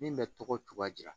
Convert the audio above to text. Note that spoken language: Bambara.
Min bɛ tɔgɔ cogoya di